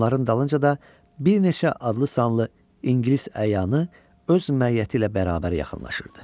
Onların dalınca da bir neçə adlı sanlı ingilis əyanı öz məiyyəti ilə bərabər yaxınlaşırdı.